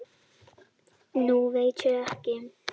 Nú veit ég ekki.